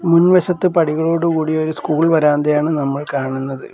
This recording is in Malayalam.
മുൻവശത്ത് പടികളോട് കൂടിയ ഒരു സ്കൂൾ വരാന്തയാണ് നമ്മൾ കാണുന്നത്.